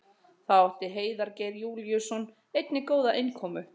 Þá átti Heiðar Geir Júlíusson einnig góða innkomu.